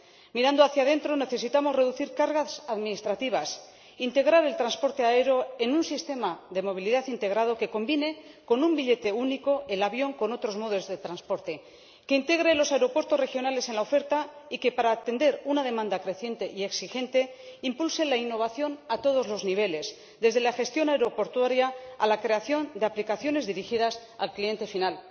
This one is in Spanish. Mirando hacia dentro, necesitamos reducir cargas administrativas, integrar el transporte aéreo en un sistema de movilidad integrado que combine, con un billete único, el avión con otros modos de transporte, que integre los aeropuertos regionales en la oferta y que, para atender una demanda creciente y exigente, impulse la innovación a todos los niveles, desde la gestión aeroportuaria a la creación de aplicaciones dirigidas al cliente final.